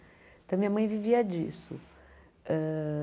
Então, minha mãe vivia disso. Hã